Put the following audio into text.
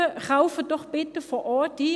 Kaufen Sie doch bitte vor Ort ein.